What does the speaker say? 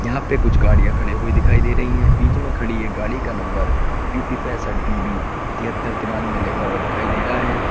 यहां पे कुछ गाड़िया खड़े हुए दिखाई दे रही हैं बीच में खड़ी एक गाड़ी का नंबर यू_पी पैसठ डी बी तिहत्तर तिरानवे लिखा हुआ दिखाई दे रहा है।